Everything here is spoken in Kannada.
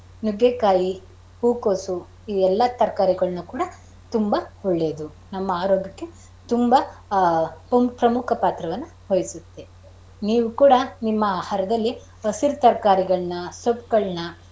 ನುಗ್ಗೆಕಾಯಿ, ಹೂಕೋಸು ಇವೆಲ್ಲ ತರಕರಿಗಳ್ನ ಕೂಡ ತುಂಬಾ ಒಳ್ಳೇದು ನಮ್ಮ ಆರೋಗ್ಯಕ್ಕೆ ತುಂಬಾ ಪ್ರಮುಖ ಪಾತ್ರವನ್ನ ವಹಿಸುತ್ತೆ. ನೀವು ಕೂಡ ನಿಮ್ಮ ಆಹಾರದಲ್ಲಿ ಹಸಿರು ತರಕರಿಗಳನ್ನ ಸೊಪ್ಪಗಳ್ನ.